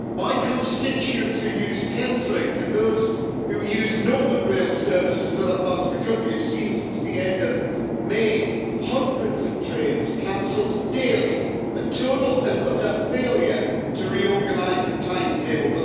My constituents who use Thames Link and those who use northern rail services in other parts of the country, have seen, since the end of May, hundreds of trains cancelled daily a total and utter failure to reorganise the timetable.